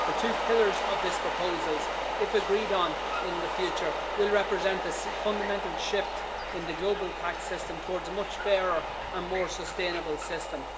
The two pillars of this proposal, if agreed on in the future, will represent a fundamental shift in the global tax system towards a much fairer and more sustainable system.